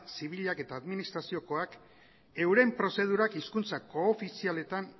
zibilak eta administraziokoak euren prozedurak hizkuntza koofizialetan